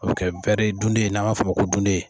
O bi kɛ dunden n'a b'a o ma ko dunden.